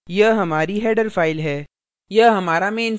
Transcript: यह हमारी header file है